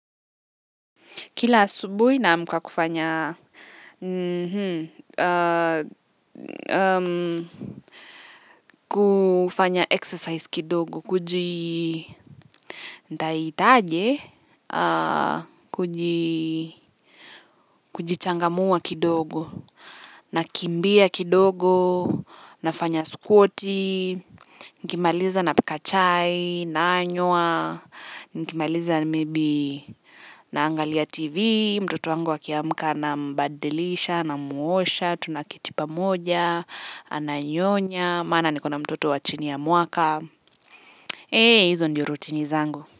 Kila asubuhi naamka kufanya exercise kidogo kuji nitaitaje kujichangamua kidogo nakimbia kidogo nafanya squati nikimaliza napika chai nanywa nikimaliza maybe naangalia tv mtoto wangu akiamka nambadilisha namuosha tunaketi pamoja. Ananyonya maana niko na mtoto wa chini ya mwaka eeeh hizo ndio routini zangu.